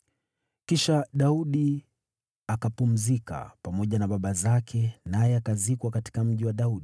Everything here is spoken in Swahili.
Kisha Daudi akapumzika pamoja na baba zake naye akazikwa katika Mji wa Daudi.